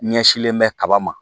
Ɲɛsinlen bɛ kaba ma